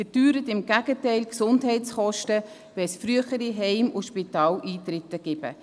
Im Gegenteil: Diese erhöht die Gesundheitskosten, weil es früher zu Heim- und Spitaleintritten kommt.